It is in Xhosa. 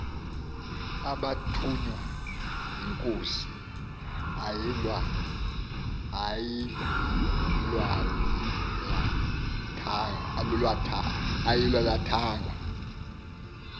abathunywa inkosi ayilwalathanga